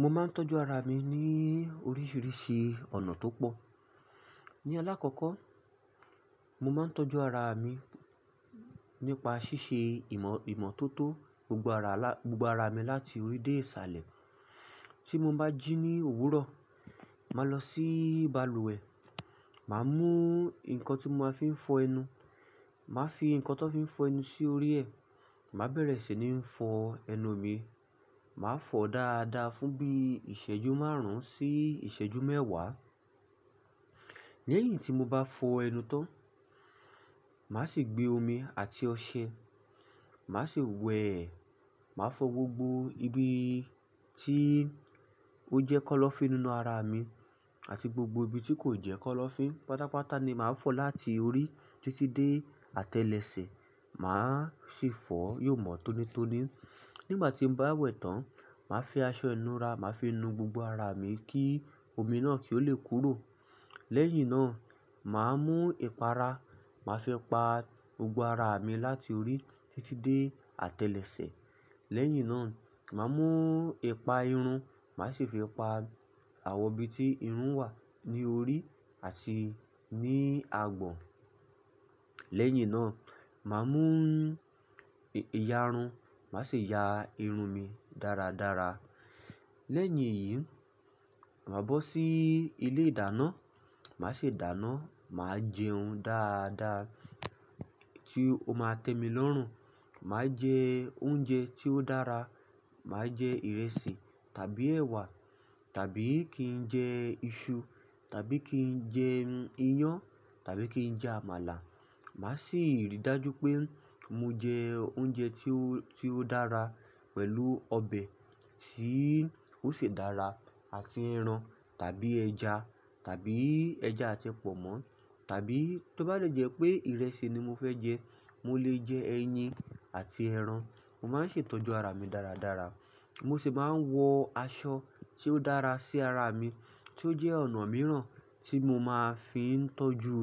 Mo máa ń tọ́jú ara mi ní oríṣiríṣi ọ̀nà tó pọ̀. Ní alákòkó, mo máa ń tọ́jú ara mi nípa ṣíṣe ìmọ̀ tó tó gbogbo ara mi láti orí dé ìsàlẹ̀. Tí mo bá jí ní òwúrọ̀, màá lọ sí balùwẹ̀, màá mú nǹkan tí mo máa fi ń fọ ẹnu. Màá fi nǹkan tó fi ń fọ ẹnu sí orí ẹ. Màá bẹ̀rẹ̀ sí ní fọ ẹnu mi. Màá fọ dáadáa fún bí ìṣẹ́jú márùn-ún sí ìṣẹ́jú mẹ́wàá. Lẹ́yìn tí mo bá fọ ẹnu tán, màá sì gbé omi àti ọṣẹ, màá sì wẹ̀. Màá fọ gbogbo ibi tí ó jẹ́ kọ́lọ́fín nínú ara mi àti gbogbo ibi tí kò jẹ́ kọ́lọ́fín. Pátápátá ni màá fọ láti orí títí dé àtẹlẹsẹ̀, màá sì fọ yòmọ tónítóní. Nígbà tí mo bá wẹ̀ tán, màá fi aṣọ ìnura màá fi nu gbogbo ara mi kí omi náà kí ó le kúrò. Lẹ́yìn náà, màá mú ìpara, màá fi pa gbogbo ara mi láti orí títí dé àtẹlẹsẹ̀. Lẹ́yìn náà mà mú ìparun mà sì fi pa àwọn ibi tí irun wà ní orí àti ní agbọ̀n. Lẹ́yìn náà, màá mú ìyarun, màá sì ya irun mi dáradára. Lẹ́yìn èyí, màá bọ́ sí ilé ìdáná, màá sì dáná. Màá jẹhun dáadáa tí ó máa tẹ́ mi lọ́rùn. Màá jẹ oúnjẹ tí ó dára. Màá jẹ ìrẹsì tàbí ẹ̀wà tàbí kí n jẹ iṣu tàbí kí n jẹ iyán tàbí kí n jẹ àmàlà. Màá sì ríi dájú pé mo jẹ oúnjẹ tí ó dára pẹ̀lú ọbẹ̀ tí ó ṣe dára àti ẹran tàbí ẹja tàbí ẹja àti pọ̀nmọ́ tàbí tó bá jẹ́ pé ìrẹsì ni mo fẹ́ jẹ, mo lè jẹ ẹyin àti ẹran. Mo máa ń ṣe ìtọ́jú ara mi dáradára. Mo sì máa ń wọ aṣọ tí ó dára sí ara mi, tí ó jẹ́ ọ̀nà mìíràn tí mo máa fi ń tọ́jú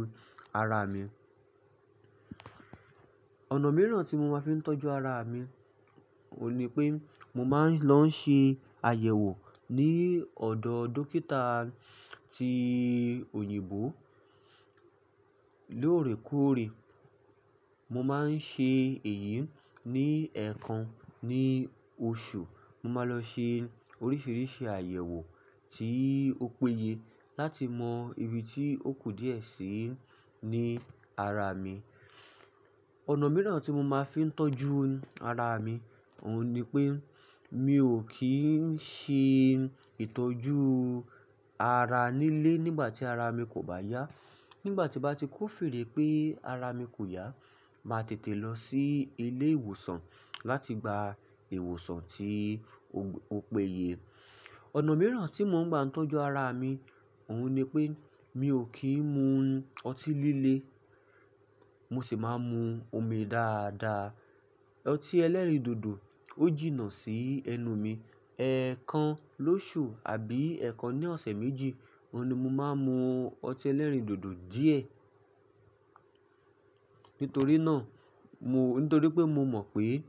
ara mi. Ọ̀nà mìíràn tí mo máa ń fi tọ́jú ara mi ò ní pé mo máa ń lọ ṣe àyẹ̀wò ní ọ̀dọ̀ dókítà ti òyìnbó lóòrèkóòrè. Mo máa ń ṣe èyí ní ẹẹkan ní oṣù. Mo máa lọ ṣe oríṣiríṣi àyẹ̀wò tí ó péye láti mọ ibi tí ó kò díẹ̀ sí ní ara mi. Ọ̀nà mìíràn tí mo máa ń fi tọ́jú ara mi ò ní pé mi ò kí ń ṣe ìtọ́jú ara nílé nígbà tí ara mi kò bá yá. Nígbà tí bá ti kó fèrè pé ara mi kò yá, màá tètè lọ sí ilé ìwòsàn láti gba ìwòsàn tí ó péye. Ọ̀nà mìíràn tí mo máa ń gbà tọ́jú ara mi ò ní pé mi ò kí ń mu ọtí líle. Mo sì máa ń mu omi dáadáa. Ọtí ẹlẹ́rìndòdò ó jìnnà sí ẹnu mi. Ẹ̀ẹkan lóṣù àbí ẹẹkan ní ọ̀sẹ̀ méjì, òun ni mo máa ń mu ọtí ẹlẹ́rìndòdò díẹ̀. Nítorí náà, nítorí pé mo mọ̀ pé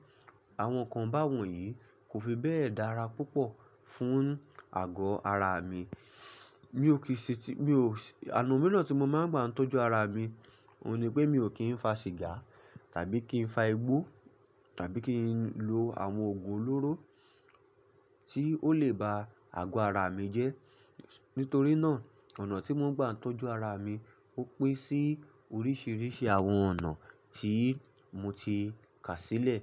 àwọn nǹkan báwọ̀nyí kò fi bẹ́ẹ̀ dára púpọ̀ fún àgọ́ ara mi. Mi ò kìí ṣe, mi ò-- ọ̀nà mìíràn tí mo máa ń gbà tọ́jú ara mi ò ní pé mi ò kí ń fa sìgá tàbí kí ń fa igbó tàbí kí ń lo àwọn òògùn olóró tí ó lè ba àgọ́ ara mi jẹ́. Nítorí náà, ọ̀nà tí mo ń gbà tọ́jú ara mi ó pẹ́ sí oríṣiríṣi àwọn ọ̀nà tí mo ti kà sílẹ̀.